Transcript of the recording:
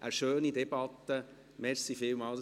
Eine schöne Debatte, vielen Dank!